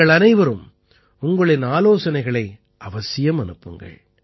நீங்களனைவரும் உங்களின் ஆலோசனைகளை அவசியம் அனுப்புங்கள்